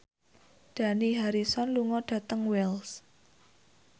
Dani Harrison lunga dhateng Wells